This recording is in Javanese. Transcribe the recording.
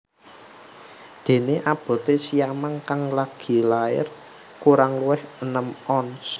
Déné aboté siamang kang lagi lair kurang luwih enem ons